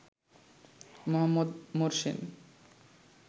Mohammad মোরসির